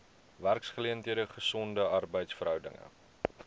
werksgeleenthede gesonde arbeidsverhoudinge